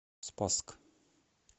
спасск